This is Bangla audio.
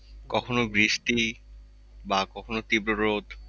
কখনো বৃষ্টি বা কখনো তীব্র রোদ।